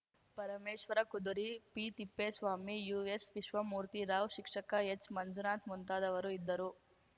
ಪರಮೇಶ್ವರಕುದುರಿ ಪಿತಿಪ್ಪೇಸ್ವಾಮಿ ಯುಎಸ್‌ವಿಶ್ವಮೂರ್ತಿರಾವ್‌ ಶಿಕ್ಷಕ ಎಚ್‌ಮಂಜುನಾಥ ಮುಂತಾದವರು ಇದ್ದರು